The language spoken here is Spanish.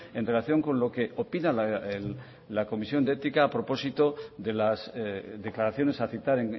en relación con lo que opina la comisión de ética a propósito de las declaraciones a citar